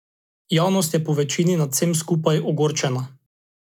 Javnost je povečini nad vsem skupaj ogorčena.